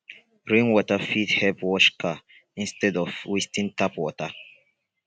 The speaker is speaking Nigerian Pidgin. rain water fit help wash car instead of wasting tap water